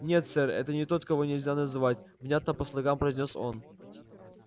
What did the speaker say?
нет сэр это не тот кого нельзя называть внятно по слогам произнёс он